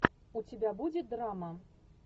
у тебя будет драма